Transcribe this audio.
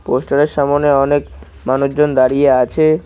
পোস্টারের সামোনে অনেক মানুষজন দাঁড়িয়ে আছে।